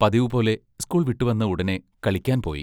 പതിവുപോലെ സ്കൂൾ വിട്ടു വന്ന ഉടനെ കളിക്കാൻ പോയി.